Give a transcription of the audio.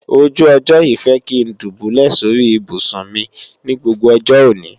ojú ọjọ́ yìí fẹ́ kí ń dùbúlẹ̀ sóri ibùsùn mi ní gbogbo ọjọ́ òní